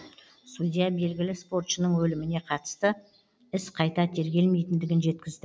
судья белгілі спортшының өліміне қатысты іс қайта тергелмейтіндігін жеткізді